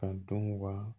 Ka dɔn wa